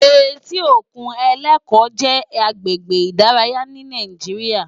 Éti ókún Eleko jè àgbégbé idàráyá ni Nàijiriá